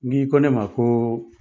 N k'i ko ne ma ko